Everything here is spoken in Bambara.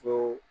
Fo